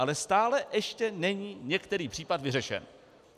Ale stále ještě není některý případ vyřešen.